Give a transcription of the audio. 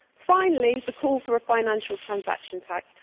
Finally, the call for a financial transaction